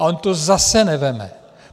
A on to zase nevezme.